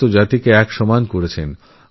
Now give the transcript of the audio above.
সমস্ত জাতিসম্প্রদায় সমান এই বাণী দিয়েছেন